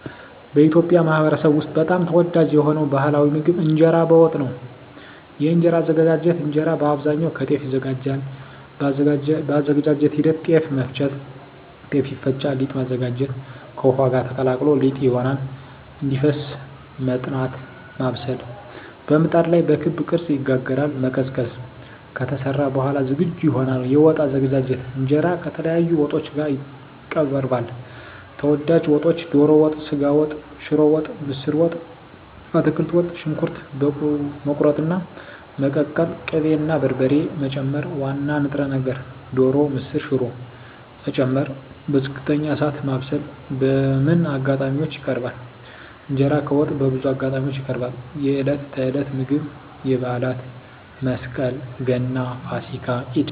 በኢትዮጵያ ማኅበረሰብ ውስጥ በጣም ተወዳጅ የሆነው ባሕላዊ ምግብ እንጀራ በወጥ ነው። የእንጀራ አዘገጃጀት እንጀራ በአብዛኛው ከጤፍ ይዘጋጃል። የአዘገጃጀት ሂደት ጤፍ መፍጨት – ጤፍ ይፈጫል ሊጥ ማዘጋጀት – ከውሃ ጋር ተቀላቅሎ ሊጥ ይሆናል እንዲፈስ መጥናት (ማብሰል) – በምጣድ ላይ በክብ ቅርጽ ይጋገራል መቀዝቀዝ – ከተሰራ በኋላ ዝግጁ ይሆናል የወጥ አዘገጃጀት እንጀራ ከተለያዩ ወጦች ጋር ይቀርባል። ተወዳጅ ወጦች ዶሮ ወጥ ስጋ ወጥ ሽሮ ወጥ ምስር ወጥ አትክልት ወጥ . ሽንኩርት መቁረጥና መቀቀል ቅቤ እና በርበሬ መጨመር ዋና ንጥረ ነገር (ዶሮ፣ ምስር፣ ሽሮ…) መጨመር በዝቅተኛ እሳት ማብሰል በምን አጋጣሚዎች ይቀርባል? እንጀራ ከወጥ በብዙ አጋጣሚዎች ይቀርባል፦ የዕለት ተዕለት ምግብ የበዓላት (መስቀል፣ ገና፣ ፋሲካ፣ ኢድ)